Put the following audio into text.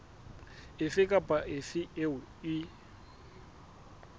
efe kapa efe eo e